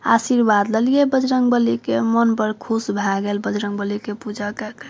आशीर्वाद ले लिये बंजरगबाली के मन बड़ खुश भाय गेल बजरंगबली के पूजा काय के।